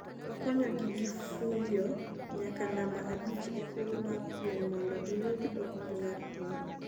okonyogi gifuyo nyaka namba abich e thuolo mar piem mondo giyud okombe mar piny